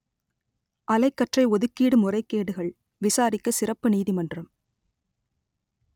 அலைக்கற்றை ஒதுக்கீடு முறைகேடுகள் விசாரிக்க சிறப்பு நீதிமன்றம்